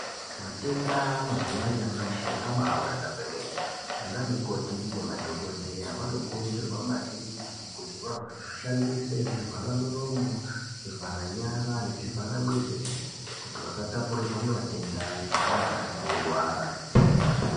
Matenda mazuwa anyamashi abawanda kwemene ana mukoti nemadhokodheya vanokurudsirwa maningi kuti vahishandise zvivhara muromo zvivhara nyara nezvivhara mwiri weshe kuti vasatapurirwe matenda ngevanenga vechirwara.